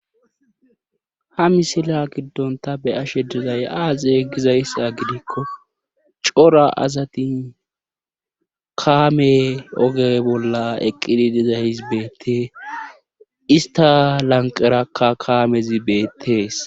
Ha misila giddon ta be7ashe dizay aaze gizayssa gidikko cora asati kaame oge bolla eqqidi dizays beetee istta lanqqerakka kaamezi beetees.